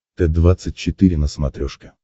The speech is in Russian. т двадцать четыре на смотрешке